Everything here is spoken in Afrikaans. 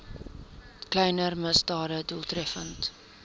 kleiner misdade doeltreffend